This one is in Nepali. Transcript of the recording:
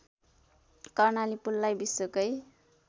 कर्णाली पुललाई विश्वकै